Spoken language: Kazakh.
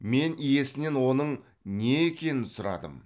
мен иесінен оның не екенін сұрадым